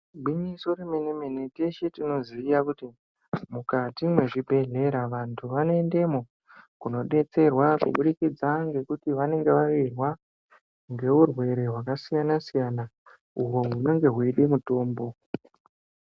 Igwinyiso remenemene teshe tinoziya kuti mukati mwezvibhedhlera vantu vanoendemo kunodetserwa kubidikidza ngekuti vanonge vawirwa nguerwere hwakasiyanasiyana uho hunonge hweide mitombo.